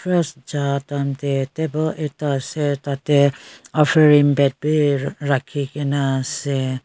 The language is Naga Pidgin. church ja time teh table ekta ase tate offering bed bhi rakhi ke na ase.